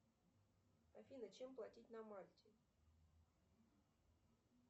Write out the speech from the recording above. афина чем платить на мальте